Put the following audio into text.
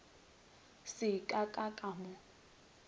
se ka ka ka mo